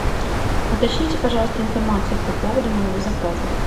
уточните пожалуйста информацию по поводу моего заказа